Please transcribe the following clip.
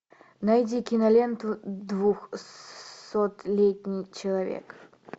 найди киноленту двухсотлетний человек